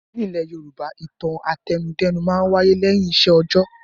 Nílẹ̀ Yorùbá, ìtàn àtẹnudẹ́nu máa ń wáyé lẹ́yìn iṣẹ́ òjọ́.